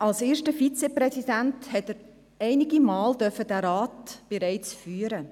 Als erster Vizepräsident durfte er diesen Rat bereits einige Male führen.